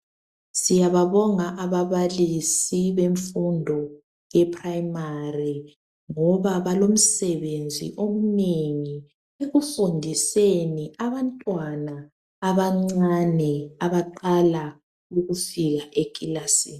Siyababonga ababalisi bemfundo ye primary ngoba balomsebenzi omnengi ekufundiseni abantwana abancane aba qala ukufika ekilasini.